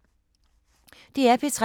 DR P3